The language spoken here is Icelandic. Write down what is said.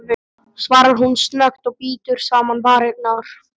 svarar hún snöggt og bítur saman varirnar.